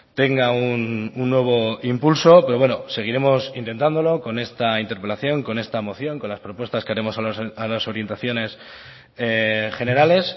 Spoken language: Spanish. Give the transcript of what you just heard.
tenga un nuevo impulso pero bueno seguiremos intentándolo con esta interpelación con esta moción con las propuestas que haremos a las orientaciones generales